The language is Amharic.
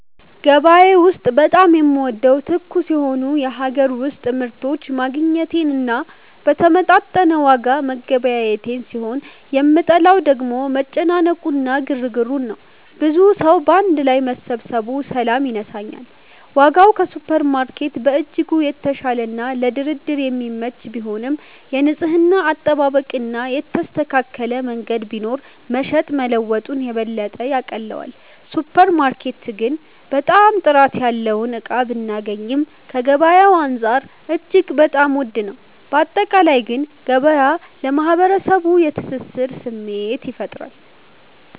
ገበያ ውስጥ በጣም የምወደው ትኩስ የሆኑ የሀገር ውስጥ ምርቶችን ማግኘቴን እና በተመጣጠነ ዋጋ መገበያየቴን ሲሆን የምጠላው ደግሞ መጨናነቁ እና ግርግሩን ነው። ብዙ ሰዉ ባንድ ላይ መሰባሰቡ ሰላም ይነሳኛል። ዋጋው ከሱፐርማርኬት በእጅጉ የተሻለና ለድርድር የሚመች ቢሆንም፣ የንጽህና አጠባበቅ እና የተስተካከለ መንገድ ቢኖር መሸጥ መለወጡን የበለጠ ያቀለዋል። ሱፐር ማርኬት ግን በጣም ጥራት ያለውን እቃ ብናገኚም ከገበያዉ አንፃር እጅግ በጣም ዉድ ነው። ባጠቃላይ ግን ገበያ ለማህበረሰቡ የትስስር ስሜት ይፈጥራል።